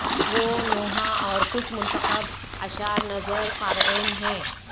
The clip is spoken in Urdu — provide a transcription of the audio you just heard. وہ نوحہ اور کچھ منتخب اشعار نذر قارئین ہیں